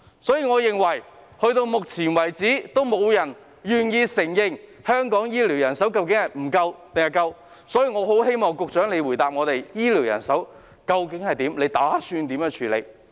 截至目前，沒有人願意承認香港醫療人手是否足夠，所以我希望局長回答我們，究竟醫療人手的情況為何，以及她打算如何處理。